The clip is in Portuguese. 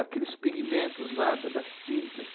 Aqueles pigmentos lá da das tintas.